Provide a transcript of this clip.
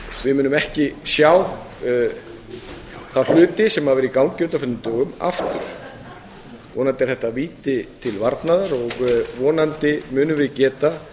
við munum ekki sjá aftur þá hluti sem hafa verið í gangi á undanförnum dögum vonandi er þetta víti til varnaðar og vonandi munum við geta